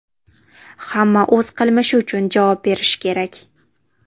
Hamma o‘z qilmishi uchun javob berishi kerak.